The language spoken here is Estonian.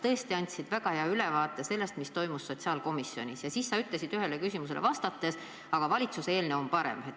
Sa andsid väga hea ülevaate sellest, mis toimus sotsiaalkomisjonis, ja ütlesid ühele küsimusele vastates: aga valitsuse eelnõu on parem.